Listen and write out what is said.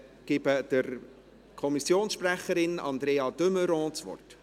Ich gebe der Kommissionssprecherin Andrea de Meuron das Wort.